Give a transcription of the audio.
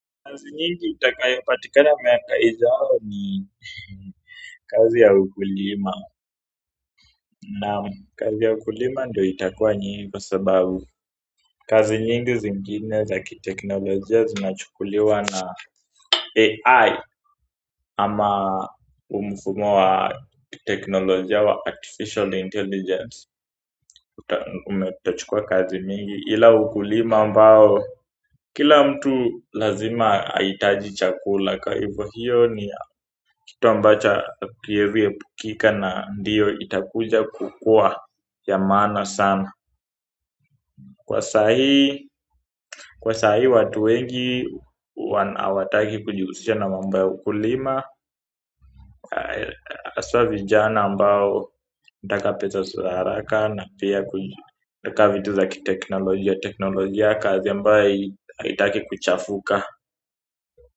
Kazi nyingi itakayapatikana miaka ijao ni kazi ya ukulima. Naam, kazi ya ukulima ndio itakuwa nyingi kwa sababu kazi nyingi zingine za kiteknolojia zinachukuliwa na AI ama huu mfumo wa teknolojia wa artificial intelligence. Umetochukua kazi nyingi ila ukulima ambao kila mtu lazima ahitaji chakula kwa hivyo hiyo ni kitu ambacho hakiezi epukika na ndiyo itakuja kukuwa ya maana sana kwa sahii watu wengi hawataki kujihusisha na mambo ya ukulima haswa vijana ambao taka pesa za haraka na pia taka vitu za kiteknolojia. Teknolojia kazi ambayo haitaki kuchafuka.